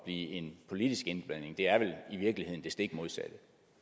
en politisk indblanding det er vel i virkeligheden det stik modsatte